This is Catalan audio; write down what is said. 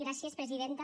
gràcies presidenta